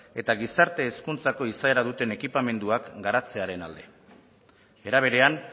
eta gizarte hezkuntzako izaera duten ekipamenduak garantzearen alde era berean